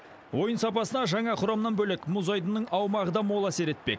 ойын сапасына жаңа құрамнан бөлек мұз айдынның аумағы да мол әсер етпек